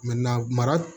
mara